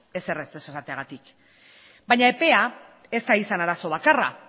ezer ere ez esateagatik baina epea ez da izan arazo bakarra